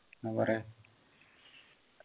ന്ന പറയ്